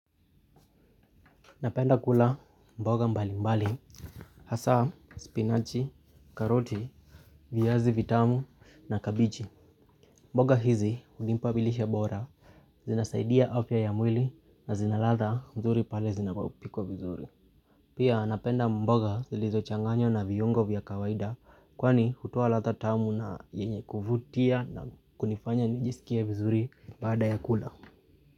Napenda kula mboga mbalimbali, hasa, spinachi, karoti, viazi vitamu na kabichi. Mboga hizi hunipa lishe bora, zinasaidia afya ya mwili na zinaladha nzuri pale zinapopikwa vizuri. Pia napenda mboga zilizochanganywa na viungo vya kawaida, kwani hutoa ladha tamu na yenye kuvutia na kunifanya nijisikie vizuri baada ya kula.